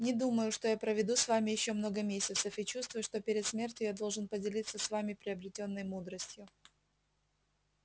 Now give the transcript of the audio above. не думаю что я проведу с вами ещё много месяцев и чувствую что перед смертью я должен поделиться с вами приобретённой мудростью